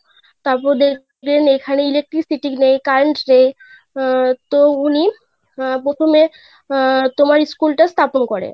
তারপর দেখলেন এখানে Electricity নেই Current নেই আহ তো উনি আহ প্রথমে আহ তোমার School টা স্থাপন করে.